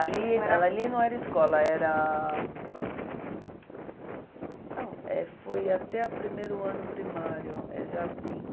Ali ela, ali não era escola, era... Não, eh foi até o primeiro ano primário, é jardim.